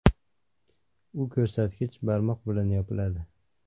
U ko‘rsatkich barmoq bilan yopiladi.